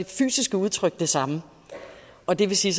fysiske udtryk det samme og det vil sige